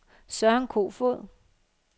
Søren Kofoed